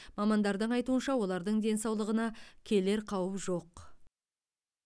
мамандардың айтуынша олардың денсаулығына келер қауіп жоқ